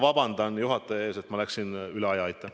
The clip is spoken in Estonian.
Vabandust, juhataja, et ma läksin üle aja!